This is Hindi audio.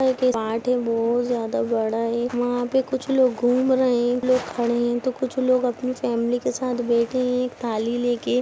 है बहुत ज्यादा बड़ा है वहा पे कुछ लोग घूम रे है कुछ लोग खड़े है तो कुछ लोग अपनी फेमली के साथ बैठे है एक थाली लेके।